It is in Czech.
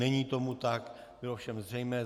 Není tomu tak, bylo všem zřejmé.